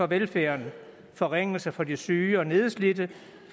velfærden forringelse for de syge og de nedslidte